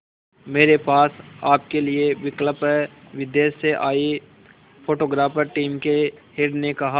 मेरे पास आपके लिए विकल्प है विदेश से आए फोटोग्राफर टीम के हेड ने कहा